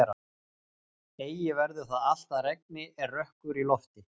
Eigi verður það allt að regni er rökkur í lofti.